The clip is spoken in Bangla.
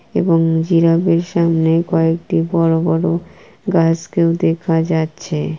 এবং জিরাফের সামনে কয়েকটি বড়োবড়ো গাছ কেউ দেখা যাচ্ছে।